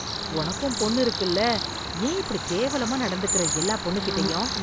உனக்கும் பொண்ணு இருக்குல்ல, ஏன் எப்படி கேவலமா நடந்துக்கிற எல்லா பொண்ணுக்கிட்டயும்.